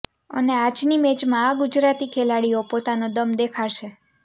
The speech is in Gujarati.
અને આજની મેચમાં આ ગુજરાતી ખેલાડીઓ પોતાનો દમ દેખાડશે